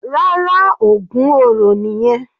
Rárá, ògún oro nìyẹn.